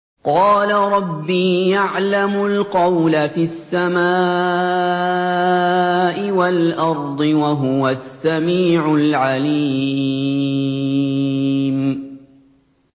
قَالَ رَبِّي يَعْلَمُ الْقَوْلَ فِي السَّمَاءِ وَالْأَرْضِ ۖ وَهُوَ السَّمِيعُ الْعَلِيمُ